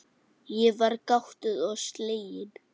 Ég var gáttuð og slegin.